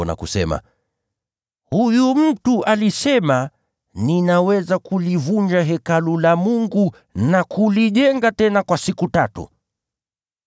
na kusema, “Huyu mtu alisema, ‘Ninaweza kulivunja Hekalu la Mungu na kulijenga tena kwa siku tatu.’ ”